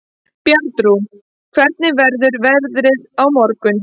Bjarnrún, hvernig verður veðrið á morgun?